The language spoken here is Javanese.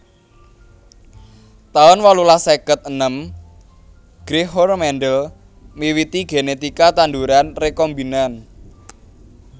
taun wolulas seket enem Gregor Mendel miwiti genetika tanduran rekombinan